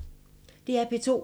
DR P2